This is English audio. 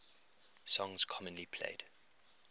songs commonly played